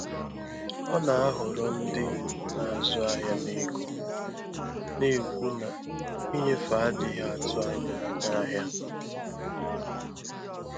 Ọ na-ahọrọ ndị na-azụ ahịa na ego, na-ekwu na ịnyefe adịghị atụ anya na ahịa.